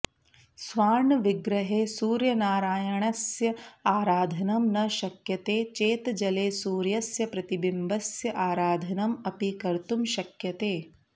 स्वार्णविग्रहे सूर्यनारायणस्य आराधनं न शक्यते चेत् जले सूर्यस्य प्रतिबिम्बस्य आराधनम् अपि कर्तुं शक्यते